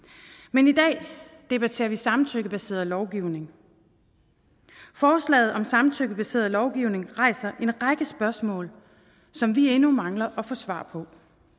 men i dag debatterer vi samtykkebaseret lovgivning forslaget om samtykkebaseret lovgivning rejser en række spørgsmål som vi endnu mangler at få svar på